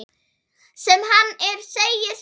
Sem hann er, segir Sigga.